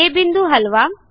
आ बिंदू हलवा